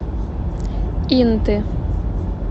инты